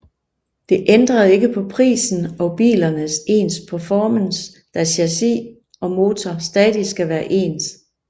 Det ændrede ikke på prisen og bilernes ens performance da chassis og motor stadig skal være ens